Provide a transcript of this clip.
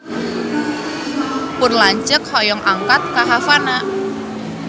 Pun lanceuk hoyong angkat ka Havana